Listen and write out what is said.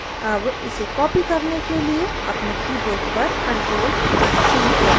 अब इसे copy करने के लिए अपने keyboard पर ctrl + c दबाएँ